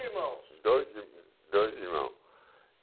Dois irmãos? Dois dois irmãos